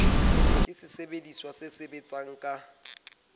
ke sesebediswa se sebetsang ka